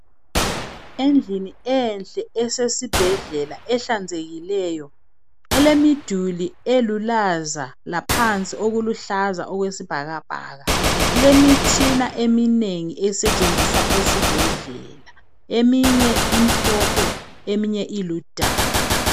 Endlini enhle esesibhedlela ehlanzekileyo elemiduli elulaza laphansi okuluhlaza okwesibhakabhaka kulemitshina eminengi esetshenziswa esibhedlela ,eminye imhlophe eminye iludaka.